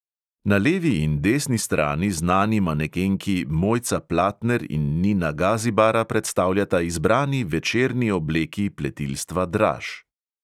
Na levi in desni strani znani manekenki mojca platner in nina gazibara predstavljata izbrani večerni obleki pletilstva draž.